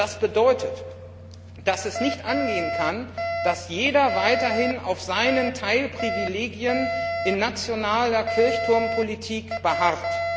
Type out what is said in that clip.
Das bedeutet, dass es nicht angehen kann, dass jeder weiterhin auf seinen Teilprivilegien in nationaler Kirchturmpolitik beharrt.